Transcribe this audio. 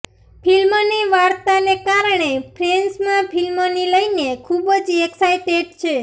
ફિલ્મની વાર્તાને કારણે ફેન્સમાં ફિલ્મની લઇને ખૂબ જ એક્સાઇટેડ છે